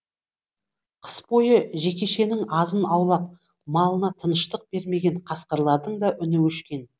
қыс бойы жекешенің азын аулақ малына тыныштық бермеген қасқырлардың да үні өшкен